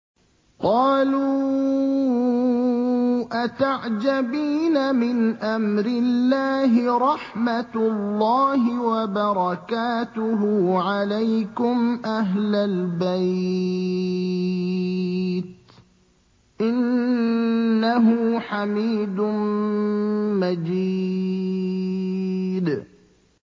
قَالُوا أَتَعْجَبِينَ مِنْ أَمْرِ اللَّهِ ۖ رَحْمَتُ اللَّهِ وَبَرَكَاتُهُ عَلَيْكُمْ أَهْلَ الْبَيْتِ ۚ إِنَّهُ حَمِيدٌ مَّجِيدٌ